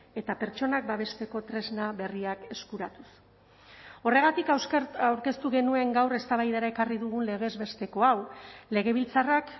eta pertsonak babesteko tresna berriak eskuratuz horregatik aurkeztu genuen gaur eztabaidara ekarri dugun legez besteko hau legebiltzarrak